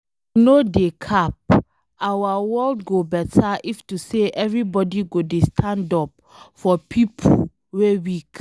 I no dey cap, our world go beta if to say everybody go dey stand up for pipo wey weak